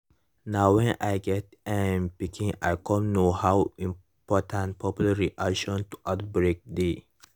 na when i get um pikin i cum know how important public reaction to outbreak dey